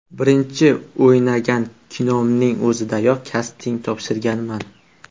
Birinchi o‘ynagan kinomning o‘zidayoq kasting topshirganman.